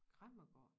Kræmmergård